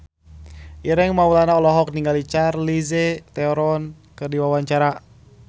Ireng Maulana olohok ningali Charlize Theron keur diwawancara